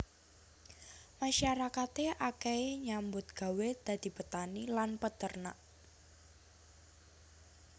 Masyarakate akehe nyambut gawé dadi petani lan peternak